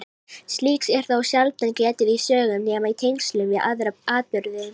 Slíks er þó sjaldan getið í sögum nema í tengslum við aðra atburði.